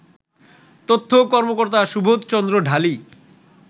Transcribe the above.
তথ্য কর্মকর্তা সুবোধ চন্দ্র ঢালী